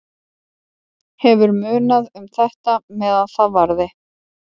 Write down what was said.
Hefur munað um þetta meðan það varði.